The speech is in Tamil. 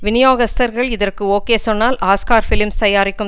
விநியோகஸ்தர்கள் இதற்கு ஓகே சொன்னால் ஆஸ்கார் பிலிம்ஸ் தயாரிக்கும்